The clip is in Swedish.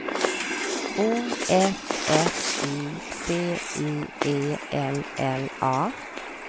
O F F I C I E L L A